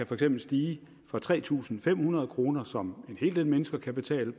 for eksempel stige fra tre tusind fem hundrede kroner som en hel del mennesker kan betale